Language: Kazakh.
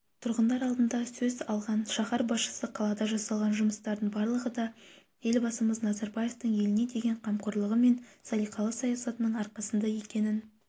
тұрғындар алдында сөз алған шаһар басшысы қалада жасалған жұмыстардың барлығы да елбасымыз назарбаевтың еліне деген қамқорлығы мен салиқалы саясатының арқасында екенін